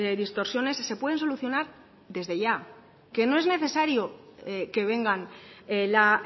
distorsiones se pueden solucionar desde ya que no es necesario que vengan la